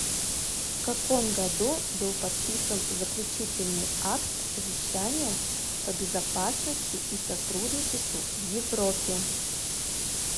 в каком году был подписан заключительный акт совещания по безопасности и сотрудничеству в европе